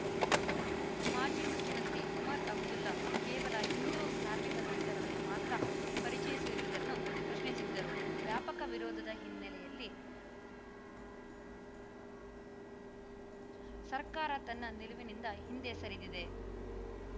ಮಾಜಿ ಮುಖ್ಯಮಂತ್ರಿ ಒಮರ್‌ ಅಬ್ದುಲ್ಲಾ ಕೇವಲ ಹಿಂದು ಧಾರ್ಮಿಕ ಗ್ರಂಥಗಳನ್ನು ಮಾತ್ರ ಪರಿಚಯಿಸಿರುವುದನ್ನು ಪ್ರಶ್ನಿಸಿದ್ದರು ವ್ಯಾಪಕ ವಿರೋಧದ ಹಿನ್ನೆಲೆಯಲ್ಲಿ ಸರ್ಕಾರ ತನ್ನ ನಿಲುವಿನಿಂದ ಹಿಂದೆ ಸರಿದಿದೆ